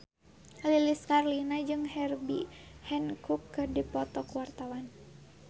Lilis Karlina jeung Herbie Hancock keur dipoto ku wartawan